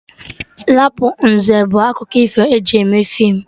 Rapụnzel bụ akụkọ ifo eji mee feem